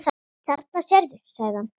Þarna sérðu, sagði hann.